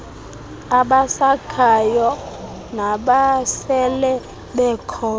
abakhasayo nabasele bekhona